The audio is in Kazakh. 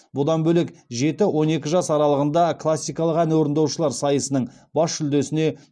бұдан бөлек жеті он екі жас аралығында классикалық ән орындаушылар сайысының бас жүлдесіне